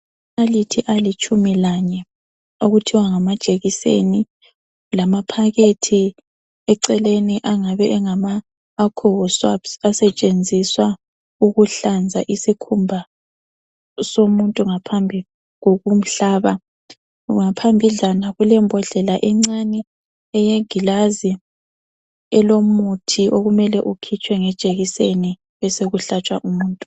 Amanalithi alitshumi lanye, okuthiwa ngama jekiseni lamaphakethe eceleni engabe engaka alcohol swabs, asetshenziswa ukuhlanza isikhumba somuntu ngaphambi kokumhlaba. Ngaphambidlana kulembhodlela encane eyegilazi elomuthi okumele ukhitshwe ngejekiseni besekuhlatshwa umuntu.